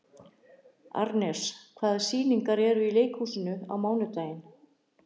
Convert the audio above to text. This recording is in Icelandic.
Arnes, hvaða sýningar eru í leikhúsinu á mánudaginn?